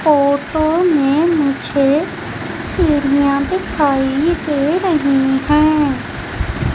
Photo मे मुझे सीढ़िया दिखाइ दे रही हैं।